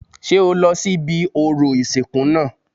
Ṣé o lọ sí ibi orò ìsìnkú náà